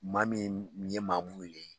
Maa min ye maa muɲunen ye